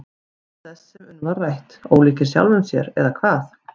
Meðal þess sem um var rætt: Ólíkir sjálfum sér eða hvað?